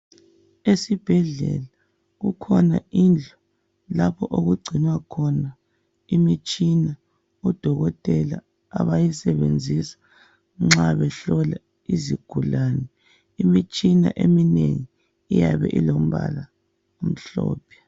Esibhedlela kukhona indlu lapho okugcinwakhona imitshina odokotela abayisebenzisa nxa behlola izigulane. Imitshina eminengi iyabe ilombala omhlophe.